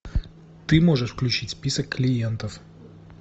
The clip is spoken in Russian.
ты можешь включить список клиентов